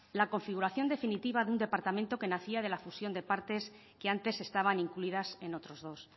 la configuración definitiva de un departamento que nacía de la fusión de partes que antes estaban incluidas en otros dos